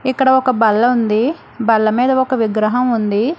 ఇక్కడ ఒక బల్ల ఉంది బల్ల మీద ఒక విగ్రహం ఉంది.